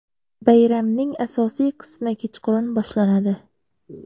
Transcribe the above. Bayramning asosiy qismi kechqurun boshlanadi.